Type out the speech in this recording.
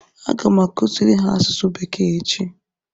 Aga m akụziri ha asụsụ bekee echi